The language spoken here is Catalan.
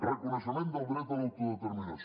reconeixement del dret a l’autodeterminació